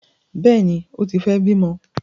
Bẹẹni, o tí fẹ bimọ